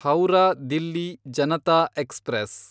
Howrah Delhi Janata express